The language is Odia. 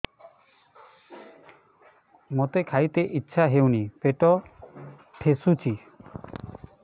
ମୋତେ ଖାଇତେ ଇଚ୍ଛା ହଉନି ପେଟ ଠେସୁଛି